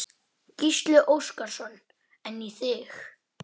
Dóra, en vildi samt hvorugan missa.